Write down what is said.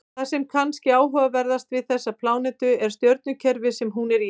Það sem er kannski áhugaverðast við þessa plánetu er stjörnukerfið sem hún er í.